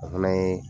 O fana ye